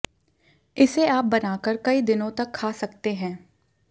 इसे आप बनाकर कई दिनों तक खा सकते हैं